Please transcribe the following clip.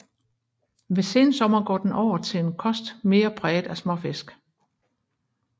Ved sensommer går den over til en kost mere præget af småfisk